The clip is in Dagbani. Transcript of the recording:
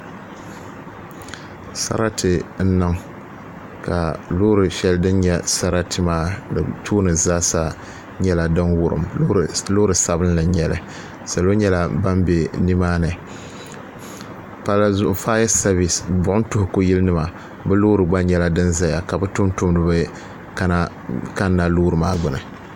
Sarati n niŋ ka loori sheli dini nyɛ sarati maa di tooni zaasa nyɛla din wurim loori sabinli n nyɛli salo nyɛla ban be nimaani palli zuɣu fayasevis buɣum tuhuku yili nima bɛ loori gba nyɛla din zaya ka bɛ tumdumdiba kanna loori maa gbini.